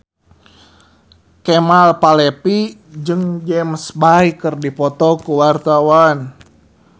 Kemal Palevi jeung James Bay keur dipoto ku wartawan